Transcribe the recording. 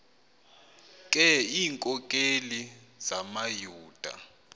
ke iinkokeli zamayuda